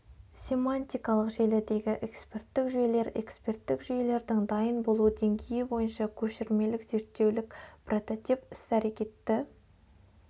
семантикалық желідегі эксперттік жүйелер экперттік жүйелердің дайын болу деңгейі бойынша көшірмелік зертеулік прототип іс-әрәкетті